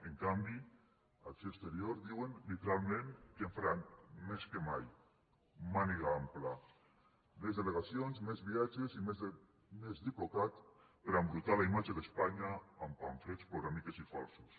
en canvi acció exterior diuen literalment que en faran més que mai màniga ampla més delegacions més viatges i més diplocat per embrutar la imatge d’espanya amb pamflets ploramiques i falsos